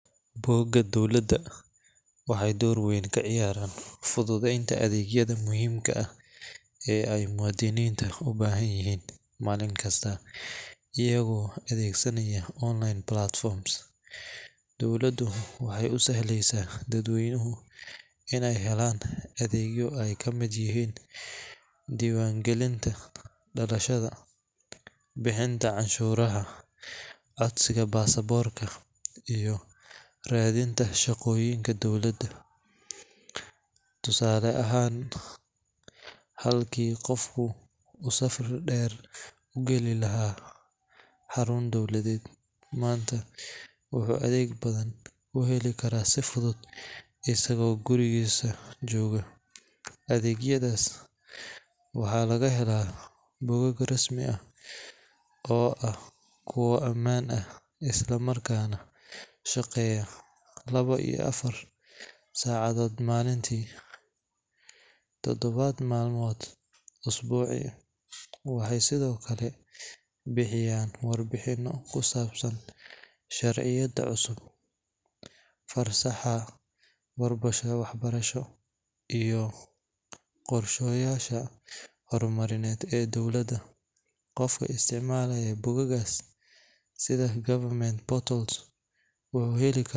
Bogaga dowlada wuxuu door weyn kaciyaraa dad weynuhu inaay helaan dibaan galinta dalashada iyo radinta shaqoyinka dowlada, halki uu qof safar deer ugali lahaa, adeegyadaas waxaa laga helaa bogag rasmi ah, tadabaad malmood isbuuci, waxeey bixiyaan war bixin cusub, qofka usticmalaya bogagas wuxuu heli karaa.